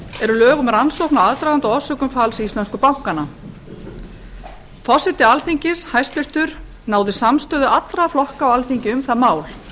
eru lög um rannsókn á aðdraganda og orsökum falls íslensku bankanna tvö þúsund og átta forseti alþingis hæstvirtur náði með samstöðu allra flokka á alþingi um það mál